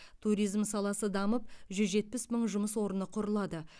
туризм саласы дамып жүз жетпіс мың жұмыс орны құрылады